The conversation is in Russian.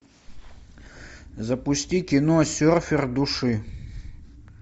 запусти кино серфер души